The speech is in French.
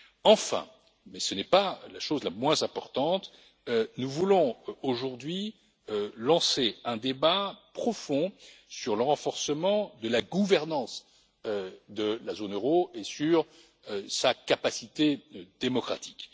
Enfin, et ce n'est pas la chose la moins importante, nous voulons aujourd'hui lancer un débat profond sur le renforcement de la gouvernance de la zone euro et sur sa capacité démocratique.